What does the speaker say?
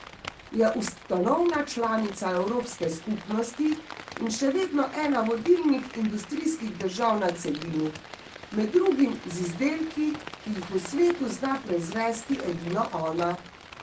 Je ustanovna članica evropske skupnosti in še vedno ena vodilnih industrijskih držav na celini, med drugim z izdelki, ki jih v svetu zna proizvesti edino ona.